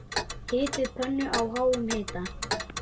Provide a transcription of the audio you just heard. Hitið pönnu á háum hita.